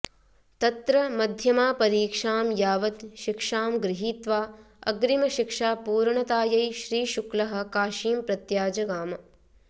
तत्र मध्यमा परीक्षाम् यावत् शिक्षाम् गृहीत्वा अग्रिम शिक्षा पूर्णतायै श्री शुक्लः काशीम् प्रत्याजगाम्